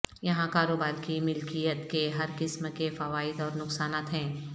یہاں کاروبار کی ملکیت کے ہر قسم کے فوائد اور نقصانات ہیں